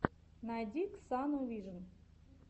найди ксану вижн